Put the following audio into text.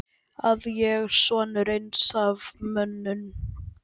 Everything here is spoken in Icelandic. Að ég, sonur eins af mönnum